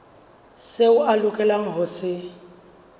seo a lokelang ho se